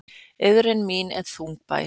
Iðrun mín er þungbær.